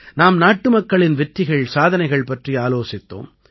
நாம் நாட்டுமக்களின் வெற்றிகள் சாதனைகள் பற்றி ஆலோசித்தோம்